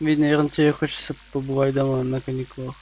ведь наверное тебе хочется побывать дома на каникулах